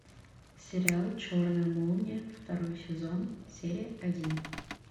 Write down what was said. сериал черная молния второй сезон серия один